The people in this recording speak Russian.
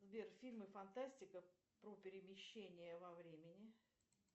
сбер фильмы фантастика про перемещение во времени